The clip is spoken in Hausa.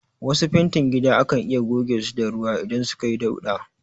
Wasu fentin gida akan iya goge su da ruwa idan suka yi dauɗa